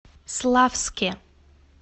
славске